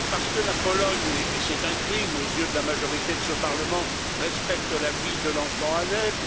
Parce que la Pologne et c'est un crime aux yeux de la majorité de ce Parlement respecte la vie de l'enfant à naître.